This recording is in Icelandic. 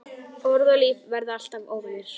Orð og líf verða alltaf óvinir.